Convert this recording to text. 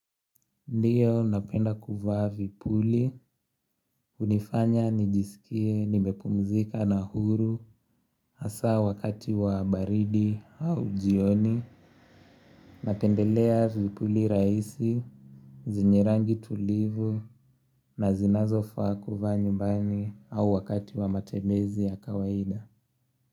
Ndiyo napenda kuvaa vipuli, hunifanya nijisikie, nimepumzika na huru, hasa wakati wa baridi au jioni, napendelea vipuli rahisi, zinye rangi tulivu, na zinazofaa kuvaa nyumbani au wakati wa matembezi ya kawaida.